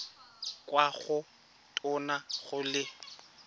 kwa go tona go le